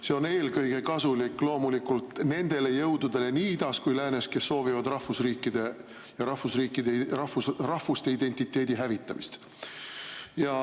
See on eelkõige kasulik loomulikult nendele jõududele nii idas kui ka läänes, kes soovivad rahvusriikide ja rahvusidentiteetide hävitamist.